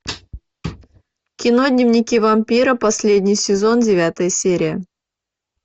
кино дневники вампира последний сезон девятая серия